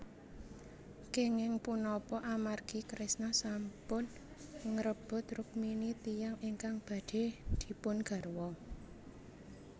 Kenging punapa amargi Kresna sampun ngrebut Rukmini tiyang ingkang badhe dipun garwa